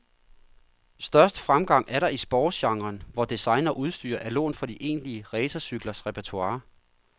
Størst fremgang er der i sportsgenren, hvor design og udstyr er lånt fra de egentlige racercyklers repertoire.